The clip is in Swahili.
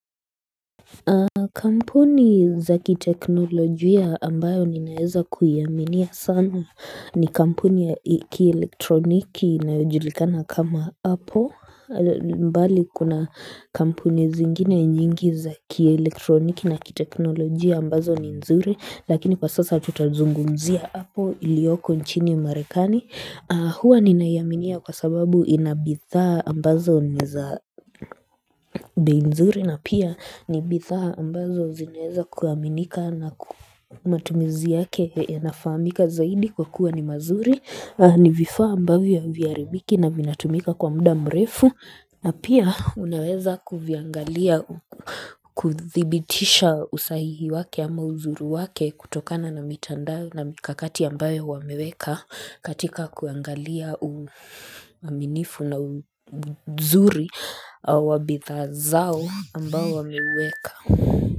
Kampuni za kiteknolojia ambayo ninaeza kuyaminia sana ni kampuni ya kielektroniki na ujulikana kama apple mbali kuna kampuni zingine nyingi za kielektroniki na kiteknolojia ambazo ni nzuri Lakini pa sasa tutazungunzia apple ilioko nchini marekani Hua ninaiaminia kwa sababu inabidhaa ambazo ni za bei nzuri na pia ni bidha ambazo zineza kuaminika na ku matumizi yake yanafaamika zaidi kwa kuwa ni mazuri ni vifaa ambavyo haviharibiki na vinatumika kwa muda mrefu na pia unaweza kuviangalia kudhibitisha usahihi wake ama uzuri wake kutokana na mitandao na mikakati ambayo wameweka katika kuangalia uaminifu na uzuri wa bidhaa zao ambayo wameuweka.